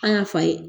An y'a fa ye